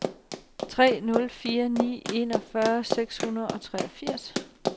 tre nul fire ni enogfyrre seks hundrede og treogfirs